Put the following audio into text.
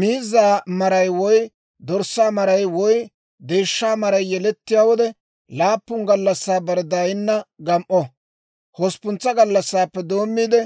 «Miizzaa maray woy dorssaa maray woy deeshshaa maray yelettiyaa wode, laappun gallassaa bare daayinna gam"o. Hosppuntsa gallassaappe doommiide,